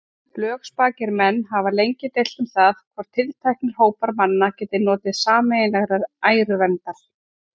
Lögspakir menn hafa lengi deilt um það, hvort tilteknir hópar manna geti notið sameiginlegrar æruverndar.